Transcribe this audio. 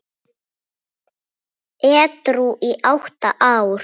Edrú í átta ár!